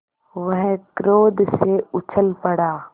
वह क्रोध से उछल पड़ा